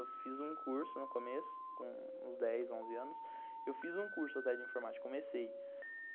Eu fiz um curso no começo, com uns dez, onze anos, eu fiz um curso até de informática, comecei.